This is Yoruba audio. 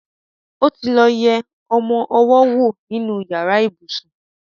otilo yé ọmọ owó nínú yàrá. ibusùn